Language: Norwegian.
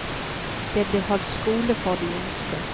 Det blir holdt skole for de yngste.